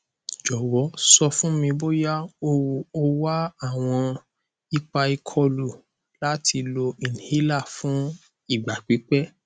jọwọ sọ fun mi boya o wa awọn ipa ikolu lati lo inhaler fun igba pipẹ